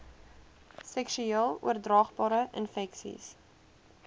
seksueel oordraagbare infeksies